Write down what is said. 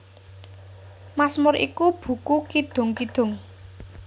Masmur iku buku kidung kidung